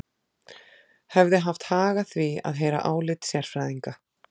Hefði haft hag að því að heyra álit sérfræðinga.